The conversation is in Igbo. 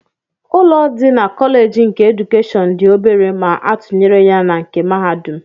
Ụlọ dị na Kọlej nke edukeshọn dị obere ma atụnyere ya na nke mahadum